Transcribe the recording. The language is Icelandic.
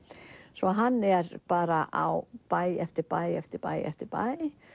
svo hann er bara á bæ eftir bæ eftir bæ eftir bæ